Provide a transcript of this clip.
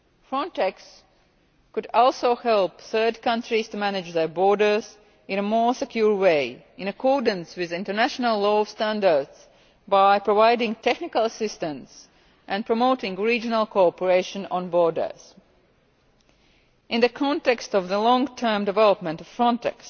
Frontex could also help third countries to manage their borders in a more secure way, in accordance with international law standards, by providing technical assistance and promoting regional cooperation on borders. In the context of the long term development of